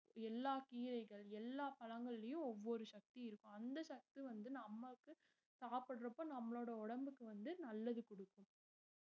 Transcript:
எல்லா கீரைகள் எல்லா பழங்கள்லயும் ஒவ்வொரு சக்தி இருக்கும் அந்த சக்தி வந்து நம்மக்கு சாப்பிடறப்ப நம்மளோட உடம்புக்கு வந்து நல்லது கொடுக்கும்